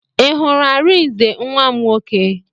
I hụrụ Arinze nwa m nwoke?